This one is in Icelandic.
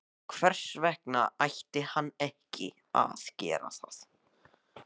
Hvers vegna ætti hann ekki að gera það?